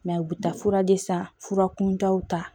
u bɛ taa fura de san fura kuntaw ta